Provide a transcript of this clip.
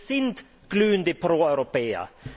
Wir sind glühende Proeuropäer.